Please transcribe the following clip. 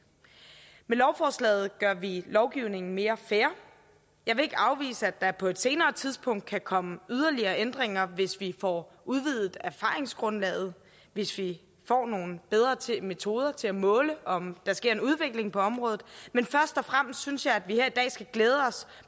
med lovforslaget gør vi lovgivningen mere fair jeg vil ikke afvise at der på et senere tidspunkt kan komme yderligere ændringer hvis vi får udvidet erfaringsgrundlaget hvis vi får nogle bedre metoder til at måle om der sker en udvikling på området men først og fremmest synes jeg at vi her i dag skal glæde os